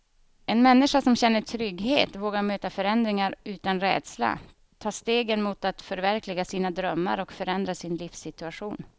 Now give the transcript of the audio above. En människa som känner trygghet vågar möta förändringar utan rädsla, ta stegen mot att förverkliga sina drömmar och förändra sin livssituation.